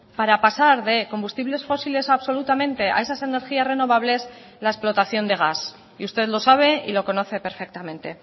para pasar de combustibles fósiles a absolutamente a esas energías renovables la explotación de gas y usted lo sabe y lo conoce perfectamente